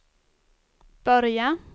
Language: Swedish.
börja